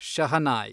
shehnai